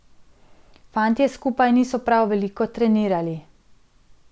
Fantje skupaj niso prav veliko trenirali.